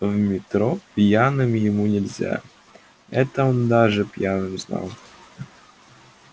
в метро пьяным ему нельзя это он даже пьяным знал